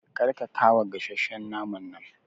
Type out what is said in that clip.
Kar ka kawa gasasshen naman nan